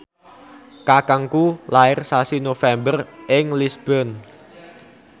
kakangku lair sasi November ing Lisburn